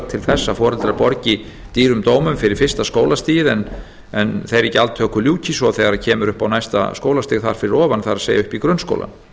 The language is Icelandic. til þess að foreldrar borgi dýrum dómum fyrir fyrsta skólastigið en þeirri gjaldtöku ljúki svo þegar kemur upp á næsta skólastig þar fyrir ofan það er upp í grunnskólann